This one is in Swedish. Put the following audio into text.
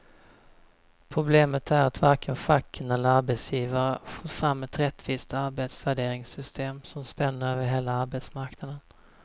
Problemet är att varken facken eller arbetsgivare fått fram ett rättvist arbetsvärderingssystem som spänner över hela arbetsmarknaden.